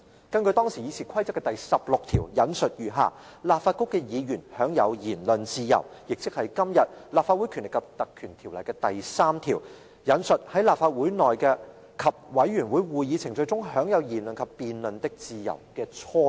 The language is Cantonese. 當時的議事規則第16條訂明："立法局的議員享有言論自由"，亦即是今天《立法會條例》第3條所訂"在立法會內及委員會會議程序中有言論及辯論的自由"的雛型。